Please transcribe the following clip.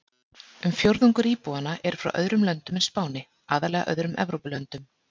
Um fjórðungur íbúanna eru frá öðrum löndum en Spáni, aðallega öðrum Evrópulöndum.